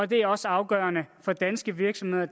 det er også afgørende for danske virksomheder og